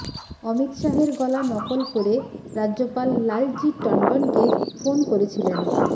অমিত শাহের গলা নকল করে রাজ্যপাল লালজি টন্ডনকে ফোন করেছিলেন